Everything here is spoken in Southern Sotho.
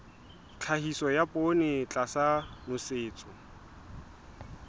tlhahiso ya poone tlasa nosetso